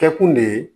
Kɛkun de ye